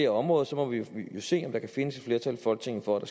område så må vi jo se om vi kan finde et flertal i folketinget for at